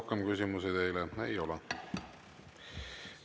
Rohkem küsimusi teile ei ole.